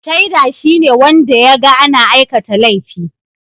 Shaida shine wanda ya ga ana aikata laifi